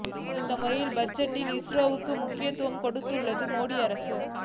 இந்த முறை பட்ஜெட்டில் இஸ்ரோவுக்கு முக்கியத்துவம் கொடுத்துள்ளது மோடி அரசு